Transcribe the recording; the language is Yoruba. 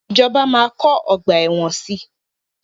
Ìjọba máa kọ́ ọgbà ẹ̀wọ̀n si.